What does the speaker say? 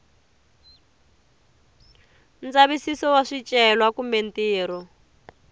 ndzavisiso wa swicelwa kumbe ntirho